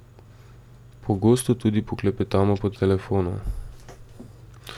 Pogosto tudi poklepetamo po telefonu.